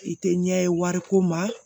I tɛ ɲɛ ye wariko ma